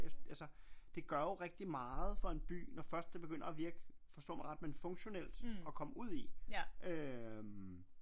Altså det gør jo rigtig meget for en by når først det begynder at virke forstå mig ret men funktionelt at komme ud i øh